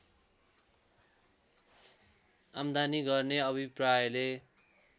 आम्दानी गर्ने अभिप्रायले